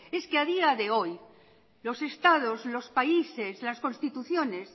es que a día de hoy los estados los países las constituciones